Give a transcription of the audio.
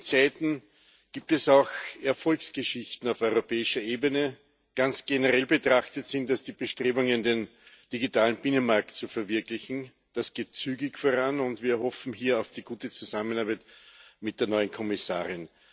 Frau Präsidentin! In diesen Zeiten gibt es auch Erfolgsgeschichten auf europäischer Ebene. Ganz generell betrachtet sind das die Bestrebungen, den digitalen Binnenmarkt zu verwirklichen. Das geht zügig voran, und wir hoffen hier auf die gute Zusammenarbeit mit der neuen Kommissarin.